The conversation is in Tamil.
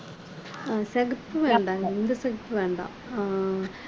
அஹ் சிகப்பு வேண்டாங்க இந்த சிகப்பு வேண்டாம் அஹ்